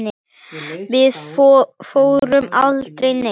Við fórum aldrei neitt.